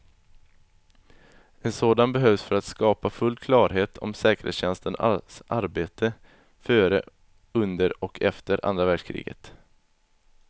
En sådan behövs för att skapa full klarhet om säkerhetstjänsternas arbete före, under och efter andra världskriget.